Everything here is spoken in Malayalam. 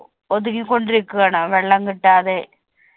ഒതുങ്ങിക്കൊണ്ടിരിക്കുകയാണ് വെള്ളം കിട്ടാതെ